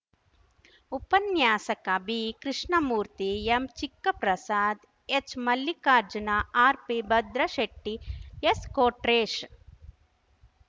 ಉಪನ್ಯಾಸಕ ಬಿಕೃಷ್ಣಮೂರ್ತಿ ಎಂಚಿಕ್ಕಪ್ರಸಾದ್‌ ಎಚ್‌ಮಲ್ಲಿಕಾರ್ಜುನ ಆರ್‌ಪಿ ಭದ್ರಶೆಟ್ಟಿ ಎಸ್‌ಕೊಟ್ರೇಶ್‌